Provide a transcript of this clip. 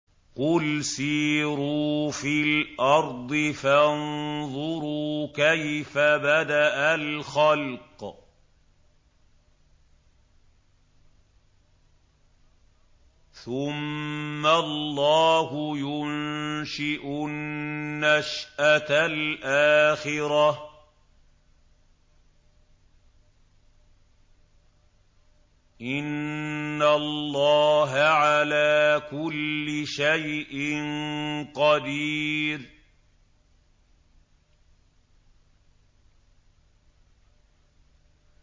قُلْ سِيرُوا فِي الْأَرْضِ فَانظُرُوا كَيْفَ بَدَأَ الْخَلْقَ ۚ ثُمَّ اللَّهُ يُنشِئُ النَّشْأَةَ الْآخِرَةَ ۚ إِنَّ اللَّهَ عَلَىٰ كُلِّ شَيْءٍ قَدِيرٌ